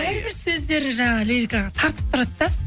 бәрібір сөздері жаңағы лирикаға тартып тұрады да